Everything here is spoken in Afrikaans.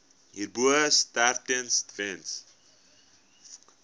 hierbo sterftes weens